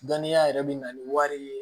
Dɔnniya yɛrɛ bɛ na ni wari ye